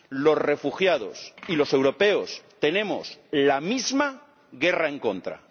Los refugiados y los europeos tenemos la misma guerra en contra.